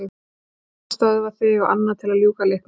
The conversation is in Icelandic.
Eitt til að stöðva þig og annað til að ljúka leiknum.